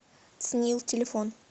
цнил телефон